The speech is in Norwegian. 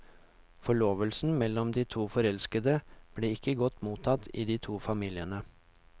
Forlovelsen mellom de to forelskede ble ikke godt mottatt i de to familiene.